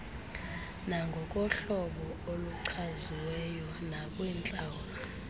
nangokohlobo oluchaziweyo nakwintlawulo